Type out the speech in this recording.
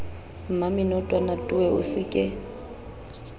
mmamenotwana towe o se ke